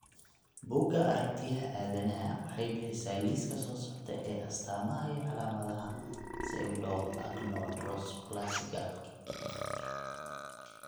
Buugga Aragtiyaha Aadanaha waxay bixisaa liiska soo socda ee astamaha iyo calaamadaha Pseudoachondroplasiga.